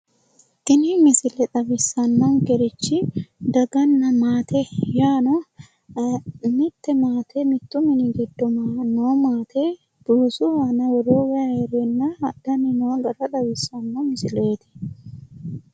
Tini misile xawissannokerichi daganna maate yaano mitte maate mittu mini giddo noo maate buusu aana woroyi wayi hereenna hadhanni noota xawissanno misileeti.